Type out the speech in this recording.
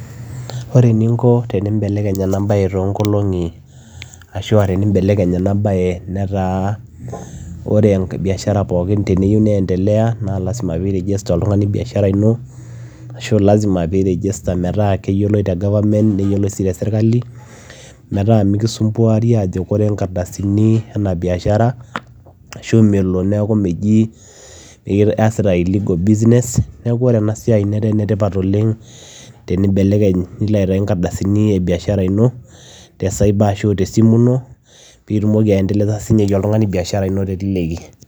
Ore eninko peyiee ibelekenye enaa bayee netaa ore biashara pokin teneyiu neendelea naa lazima peyiee ire register oltunganii biashara ino metaa keyioloi te government metaa mikisumbuarii ajo koree inkardasini ene Biashara melon nejii iyasitaa illegal business niloo aaitayu inkardasini innonok te cyber peyiee andelea teleleki